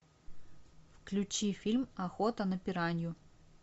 включи фильм охота на пиранью